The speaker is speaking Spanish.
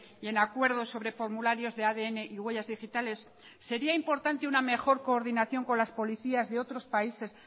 y en acuerdos sobre formularios de adn y huellas digitales sería importante una mejor coordinación con las policías de otros países